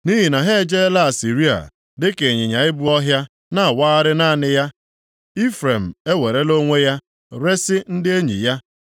Nʼihi na ha ejeela Asịrịa dịka ịnyịnya ibu ọhịa na-awagharị naanị ya. Ifrem ewerela onwe ya resi ndị enyi ya.